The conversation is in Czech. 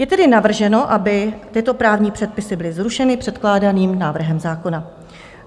Je tedy navrženo, aby tyto právní předpisy byly zrušeny předkládaným návrhem zákona.